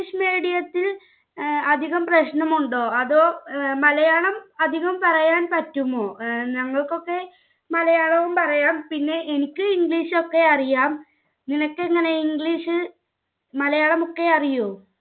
അധികം പ്രശ്നമുണ്ടോ? അതോ മലയാളം അധികം പറയാൻ പറ്റുമോ? ഞങ്ങൾക്കൊക്കെ മലയാളവും പറയാം. പിന്നെ എനിക്ക് English ഒക്കെ അറിയാം. നിനക്കെങ്ങനെ English ~ Malayalam ഒക്കെ അറിയുവോ?